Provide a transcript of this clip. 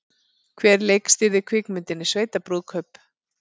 Hver leikstýrði kvikmyndinni Sveitabrúðkaup?